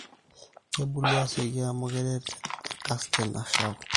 kebulu asioki amu keret enkste nashau